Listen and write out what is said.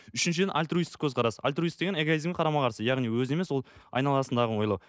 үшіншіден альтруистік көзқарас альтруист деген эгоизмге қарама қарсы яғни өзін емес ол айналасындағыны ойлау